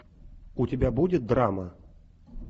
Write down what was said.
у тебя будет драма